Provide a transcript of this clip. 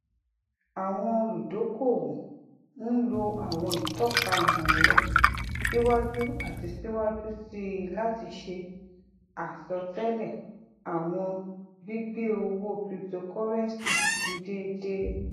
awọn oludokoowo n lo awọn itọka imọẹrọ siwaju ati siwaju sii lati ṣe asọtẹlẹ awọn gbigbe owo cryptocurrency ni deede